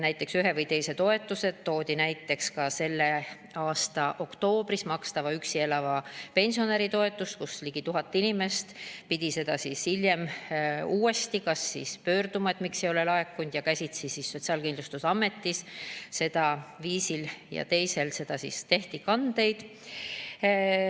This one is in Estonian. Näiteks toodi ka selle aasta oktoobris toimunud üksi elava pensionäri toetuse maksmine, kui ligi 1000 inimest pidi hiljem uuesti pöörduma, et miks ei ole laekunud, ja käsitsi Sotsiaalkindlustusametis viisil ja teisel tehti kandeid.